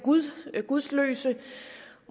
gudløse